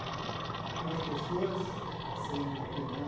Algumas pessoas são de opinião...